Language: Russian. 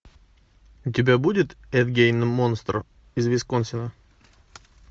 у тебя будет эд гейн монстр из висконсина